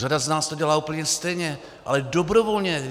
Řada z nás to dělá úplně stejně, ale dobrovolně.